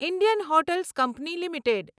Indian hotels company limited